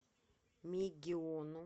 мегиону